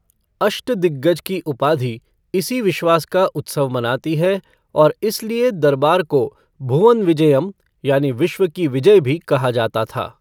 अष्टदिग्गज की उपाधि इन्हीं विश्वास का उत्सव मनाती है और इसलिए दरबार को भुवन विजयम यानि विश्व की विजय भी कहा जाता था।